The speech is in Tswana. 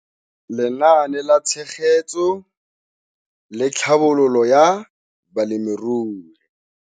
Lenaane la Tshegetso le Tlhabololo ya Balemirui.